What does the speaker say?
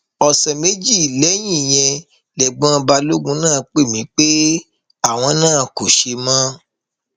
ọsẹ méjì lẹyìn ìyẹn lẹgbọn balógun náà pè mí pé àwọn náà kò ṣe mọ